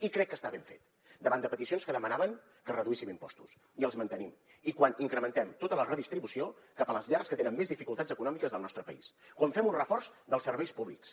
i crec que està ben fet davant de peticions que demanaven que reduíssim impostos i els mantenim i quan incrementem tota la redistribució cap a les llars que tenen més dificultats econòmiques del nostre país quan fem un reforç dels serveis públics